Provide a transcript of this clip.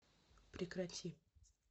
прекрати